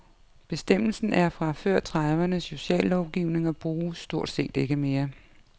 Bestemmelsen er fra før tredivernes sociallovgivning og bruges stort set ikke mere.